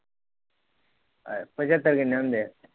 ਪਚੱਤਰ ਕਿਨੇ ਹੁੰਦੇ?